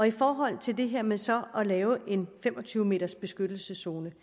i forhold til det her med så at lave en fem og tyve meters beskyttelseszone